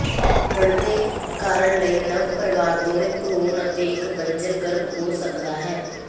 ਬਣਦੇ ਕਰਨ ਲਈ ਨਵ ਪਰਿਵਾਰ ਦੋਨੋ ਭਰੂਣ ਅਤੇ ਇੱਕ ਬੰਜਰ ਗਰਭ ਹੋ ਸਕਦਾ ਹੈ